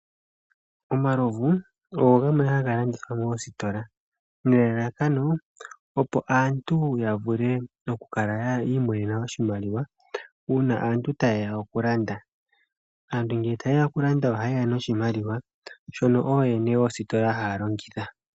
Omalovu ogo gamwe haga landithwa moositola, nelalakano opo aantu ya vule oku kala yi imonena oshimaliwa, una aantu ta yeya oku landa. Aantu ngele ta yeya oku landa oha ye ya noshimaliwa shono ooyene yoositola ha ya longitha.